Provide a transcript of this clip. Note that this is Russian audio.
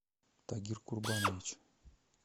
тагир курбанович